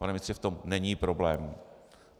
Pane ministře, v tom není problém.